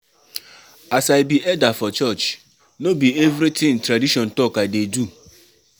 As I be elder for church, no be everytin tradition talk I dey do.